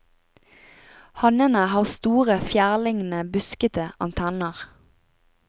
Hannene har store, fjærlignende, buskete antenner.